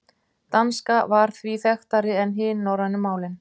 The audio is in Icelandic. Danska var því þekktari en hin norrænu málin.